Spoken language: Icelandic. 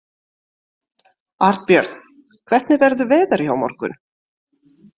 Arnbjörn, hvernig verður veðrið á morgun?